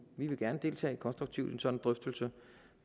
vi vil gerne deltage konstruktivt i en sådan drøftelse